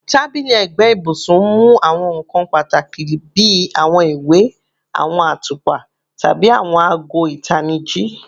Tabili ẹgbe ibusun mu awọn nkan pataki bi awọn iwe, awọn atupa, tabi awọn aago itaniji